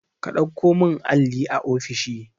ka ɗauko min alli a ofishi